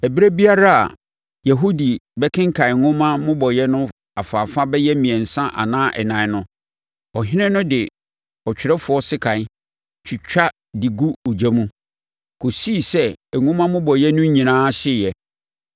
Ɛberɛ biara a Yehudi bɛkenkan nwoma mmobɔeɛ no afaafa bɛyɛ mmiɛnsa anaa ɛnan no, ɔhene no de ɔtwerɛfoɔ sekan, twitwa de gu ogya no mu, kɔsii sɛ nwoma mmobɔeɛ no nyinaa hyeeɛ.